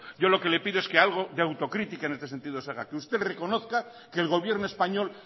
yo lo que le pido es que algo de autocrítica en este sentido se haga que usted reconozca que el gobierno español